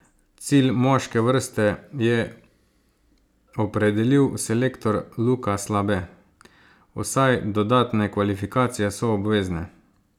Cilj moške vrste je opredelil selektor Luka Slabe: "Vsaj dodatne kvalifikacije so obvezne.